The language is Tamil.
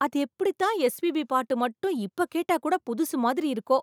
அது எப்படி தான் எஸ்.பி.பி பாட்டு மட்டும் இப்ப கேட்டா கூட புதுசு மாதிரி இருக்கோ ?